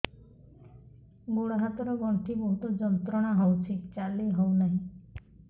ଗୋଡ଼ ହାତ ର ଗଣ୍ଠି ବହୁତ ଯନ୍ତ୍ରଣା ହଉଛି ଚାଲି ହଉନାହିଁ